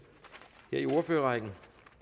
i ordførerrækken